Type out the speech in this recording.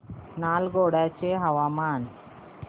नालगोंडा चे हवामान